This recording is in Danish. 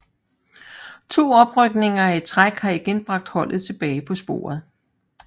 To oprykninger i træk har igen bragt holdet tilbage på sporet